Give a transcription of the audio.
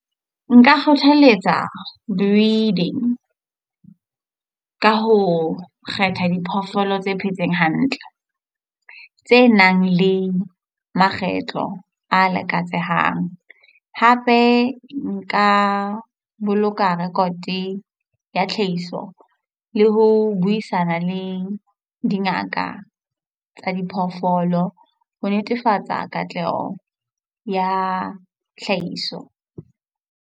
Nka kgothaletsa breeding, ka ho kgetha diphoofolo tse phetseng hantle, tse nang le makgetlo a lakatsehang. Hape nka boloka rekote ya tlhahiso le ho buisana le dingaka tsa diphoofolo ho netefatsa katleho ya tlhahiso.